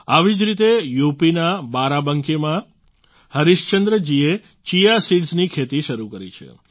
આવી જ રીતે યુપીના બારાબાંકીમાં હરિશ્ચન્દ્ર જીએ ચીયા સિડ્સની ખેતી શરૂ કરી છે